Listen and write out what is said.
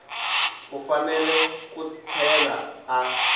u fanele ku tlhela a